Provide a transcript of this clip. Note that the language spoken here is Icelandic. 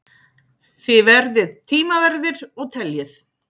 Þið verðið tímaverðir og teljið.